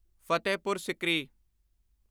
Fatehpur Sikri